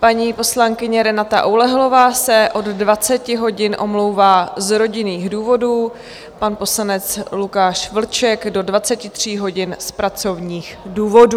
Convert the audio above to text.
Paní poslankyně Renata Oulehlová se od 20 hodin omlouvá z rodinných důvodů, pan poslanec Lukáš Vlček do 23 hodin z pracovních důvodů.